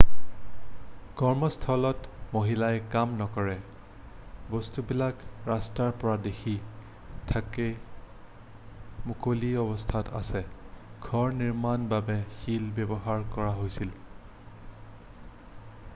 কৰ্মস্থলত মহিলাই কাম নকৰে বস্তুবিলাক ৰাস্তাৰ পৰা দেখি থকাকৈ মুকলি অৱস্থাত আছে ঘৰ নিৰ্মাণৰ বাবে শিল ব্যৱহাৰ কৰা হৈছিল